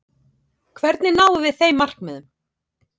Hvernig náum við þeim markmiðum?